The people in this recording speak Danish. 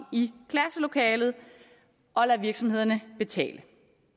i klasselokalet og lader virksomhederne betale